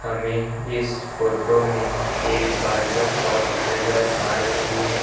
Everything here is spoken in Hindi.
हमें इस फोटो में एक बर्बर शॉप नजर आ रही है।